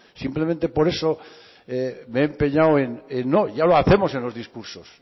simplemente por eso me he empeñado en no ya lo hacemos en los discursos